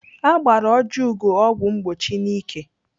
Agbara Ojiugo ọgwụ mgbochi n'ike.